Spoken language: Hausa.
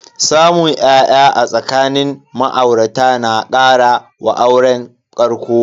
Samun ya'ya a tsakanin ma'aurata na kara wa auren ƙarƙo.